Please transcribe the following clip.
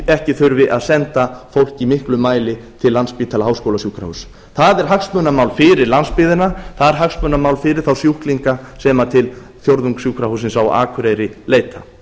ekki þurfi að senda fólk í miklum mæli til landspítala háskólasjúkrahúss það er hagsmunamál fyrir landsbyggðina það er hagsmunamál fyrir þá sjúklinga sem til fjórðungssjúkrahússins á akureyri leita